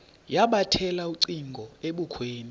yabethela ucingo ebukhweni